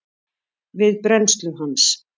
við brennslu hans.